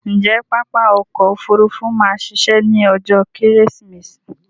Ǹjé pápá ọkò òfurufú ma a ṣiṣẹ́ ní ọjó kẹ́rẹ́sìmẹsì?